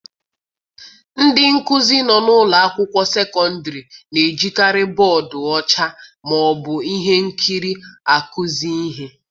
Ndị nkuzi nọ n'ụlọ akwụkwọ sekọndịrị na-ejikarị bọọdụ ọcha ma ọ bụ ihe nkiri akụzi ihe.